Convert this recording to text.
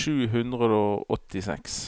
sju hundre og åttiseks